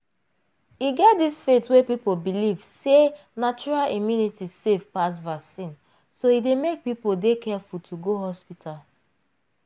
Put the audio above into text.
e get dis faith wey people believe sey natural immunity safe pass vaccine so e dey make people dey careful to go hospital.